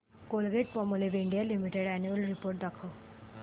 Colgate Palmolive India limited annual report दाखव